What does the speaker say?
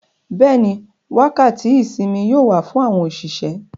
Bẹ́ẹ̀ni, wákàtí ìsinmi yóò wà fún àwọn òṣìṣẹ́.